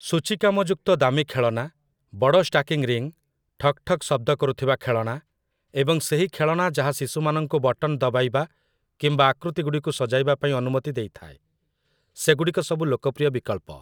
ସୂଚୀକାମଯୁକ୍ତ ଦାମୀ ଖେଳନା, ବଡ଼ ଷ୍ଟାକିଂ ରିଙ୍ଗ୍‌, ଠକ୍ ଠକ୍ ଶବ୍ଦ କରୁଥିବା ଖେଳଣା, ଏବଂ ସେହି ଖେଳଣା ଯାହା ଶିଶୁମାନଙ୍କୁ ବଟନ୍ ଦବାଇବା କିମ୍ବା ଆକୃତି ଗୁଡ଼ିକୁ ସଜାଇବା ପାଇଁ ଅନୁମତି ଦେଇଥାଏ, ସେଗୁଡ଼ିକ ସବୁ ଲୋକପ୍ରିୟ ବିକଳ୍ପ ।